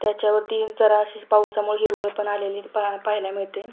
त्याच्या वरती जरा अशी पावसामुळे हिरवळ पण आलेली पहा पाहायला मिळते.